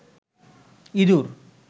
ইঁদুর